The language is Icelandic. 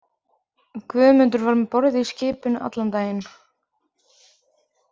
Guðmundur var um borð í skipinu allan daginn.